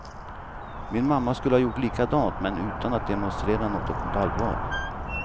Min mamma skulle ha gjort likadant men utan att demonstrera något allvar.